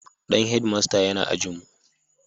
Dan Head master yana ajin mu